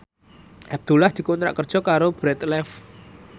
Abdullah dikontrak kerja karo Bread Life